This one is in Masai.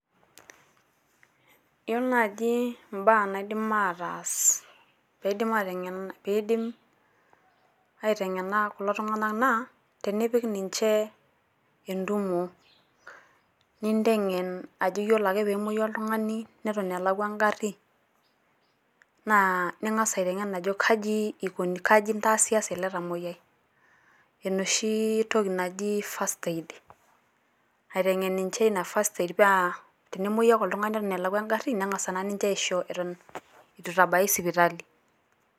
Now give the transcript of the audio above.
Yielo naaji embaa naidim ataas peedim aateng Peidim aiteng'ena kulo Tung'anak naa tenipik ninche entumo ninteng'en ajoki ore peemoyu oltung'ani neton elakwa egarri naa ning'as aiteng'en ajo kaja intaasasa ele tamoyiai enoshi toki naji First Aid aiteng'en enche Ina first Aid paa tenemoyu ake oltung'ani Eton elakwa egarri neng'asa naa ninche aisho Eton eitu eitari sipitali.